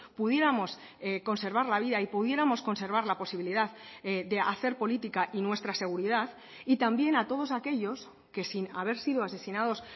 pudiéramos conservar la vida y pudiéramos conservar la posibilidad de hacer política y nuestra seguridad y también a todos aquellos que sin haber sido asesinados